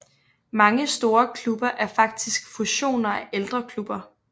Mange store klubber er faktisk fusioner af ældre klubber